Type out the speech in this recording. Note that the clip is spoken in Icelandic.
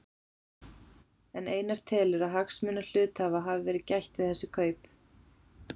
En telur Einar að hagsmuna hluthafa hafi verið gætt við þessi kaup?